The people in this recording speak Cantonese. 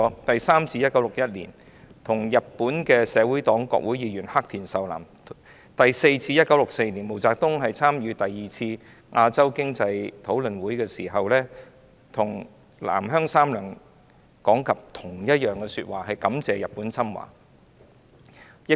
第三次是在1961年，當時是與日本社會黨國會議員黑田壽男會談，而第四次則是在1964年，當時毛澤東參加第二次亞洲經濟討論會，再次向南鄉三郎講述同一番說話，感謝日本侵華。